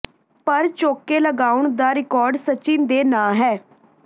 ਪਰ ਚੌਕੇ ਲਗਾਉਣ ਦਾ ਰਿਕਾਰਡ ਸਚਿਨ ਦੇ ਨਾਂ ਹੈ